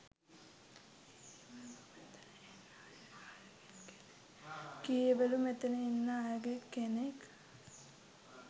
කීවලු මෙතන ඉන්න අයගෙන් කෙනෙක්